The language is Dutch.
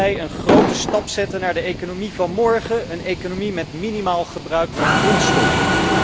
Laten zij een grote stap zetten naar de economie van morgen, een economie met minimaal gebruik van grondstoffen.